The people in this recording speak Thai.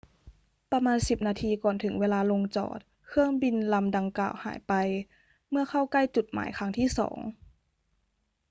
ประมาณสิบนาทีก่อนถึงเวลาลงจอด เครื่องบินลำดังกล่าวหายไปเมื่อเข้าใกล้จุดหมายครั้งที่สอง